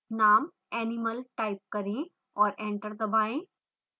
name animal type करें और enter दबाएँ